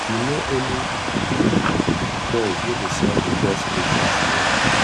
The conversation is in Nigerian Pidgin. you know any joint wey dey sell di best breakfast meal